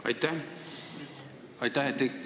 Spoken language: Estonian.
Aitäh!